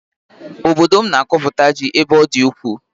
Obodo m na-akọpụta ji ebe ọ dị ukwuu